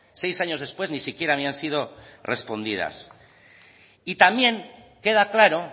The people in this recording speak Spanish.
seis años después ni siquiera habían sido respondidas y también queda claro